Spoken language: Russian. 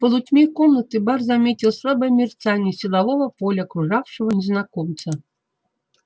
в полутьме комнаты бар заметил слабое мерцание силового поля окружавшего незнакомца